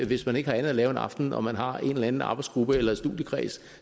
hvis man ikke har andet at lave en aften og man har en eller anden arbejdsgruppe eller studiekreds